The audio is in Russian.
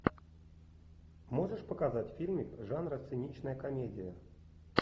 можешь показать фильмик жанра циничная комедия